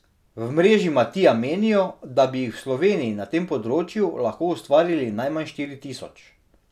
V mreži Matija menijo, da bi jih v Sloveniji na tem področju lahko ustvarili najmanj štiri tisoč.